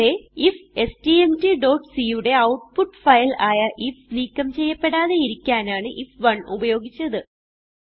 ഇവിടെ ifstmtസി യുടെ ഔട്ട്പുട്ട് ഫയൽ ആയ ഐഎഫ് നീക്കം ചെയ്യപ്പെടാതെയിരിക്കാനാണ് ഐഎഫ്1 ഉപയോഗിച്ചത്